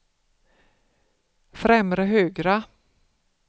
främre högra